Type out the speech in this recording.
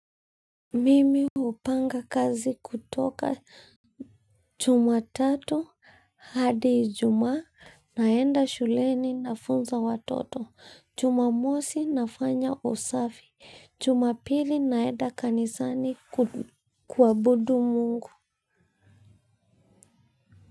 Mimi hupanga kazi kutoka Jumatatu hadi Ijumaa naenda shuleni nafunza watoto Jumamosi nafanya usafi Jumapili naenda kanisani kuabudu Mungu.